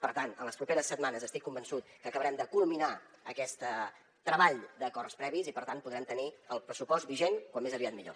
per tant en les properes setmanes estic convençut que acabarem de culminar aquest treball d’acords previs i per tant podrem tenir el pressupost vigent com més aviat millor